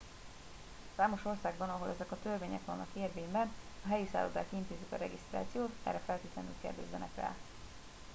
számos országban – ahol ezek a törvények vannak érvényben – a helyi szállodák intézik a regisztrációt erre feltétlenül kérdezzenek rá